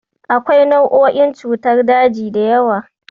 Akwai nau'o'in cutar daji da yawa.